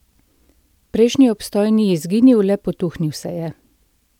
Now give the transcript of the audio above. Prejšnji obstoj ni izginil, le potuhnil se je.